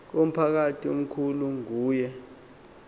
umphakathi omkhulu nguye